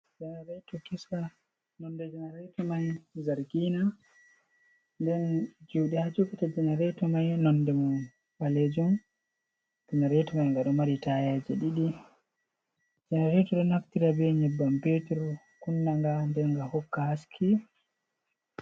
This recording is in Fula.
Janareto kesa: Nonde janareto mai zargina nden juɗe ha jogata janareto mai nonde mum ɓalejum. Janareto mai nga ɗo mari taya je ɗiɗi. Janareto ɗo naftira be nyebbam petir, kunnanga, nden nga hokka haske.